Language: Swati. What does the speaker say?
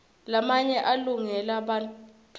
lamaye alungele bantfuara